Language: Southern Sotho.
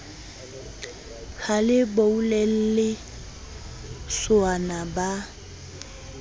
ha le boulelle sowana ba